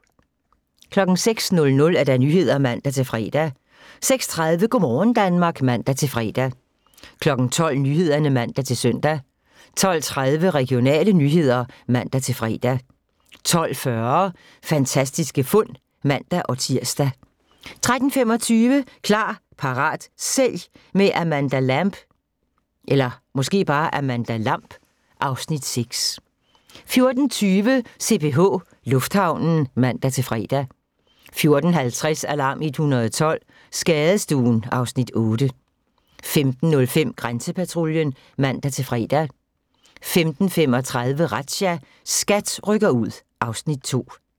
06:00: Nyhederne (man-fre) 06:30: Go' morgen Danmark (man-fre) 12:00: Nyhederne (man-søn) 12:30: Regionale nyheder (man-fre) 12:40: Fantastiske fund (man-tir) 13:25: Klar, parat, sælg – med Amanda Lamb (Afs. 6) 14:20: CPH Lufthavnen (man-fre) 14:50: Alarm 112 – Skadestuen (Afs. 8) 15:05: Grænsepatruljen (man-fre) 15:35: Razzia – SKAT rykker ud (Afs. 2)